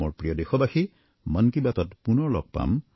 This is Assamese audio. মোৰ প্ৰিয় দেশবাসী মন কী বাতত পুনৰ লগ পাম